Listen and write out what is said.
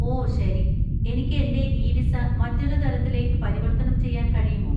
ഓ, ശരി. എനിക്ക് എന്‍റെ ഇ വിസ മറ്റൊരു തരത്തിലേക്ക് പരിവർത്തനം ചെയ്യാൻ കഴിയുമോ?